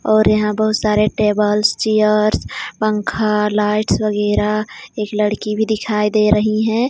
और यहां बहुत सारे टेबल्स चेयर्स पंखा लाइट्स वगैरा एक लड़की भी दिखाई दे रही है.